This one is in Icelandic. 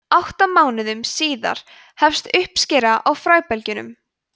átta mánuðum síðar hefst uppskera á fræbelgjunum